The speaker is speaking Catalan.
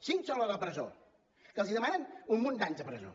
cinc són a la presó que els demanen un munt d’anys de presó